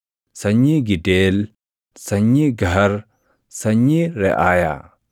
sanyii Gideel, sanyii Gahar, sanyii Reʼaayaa;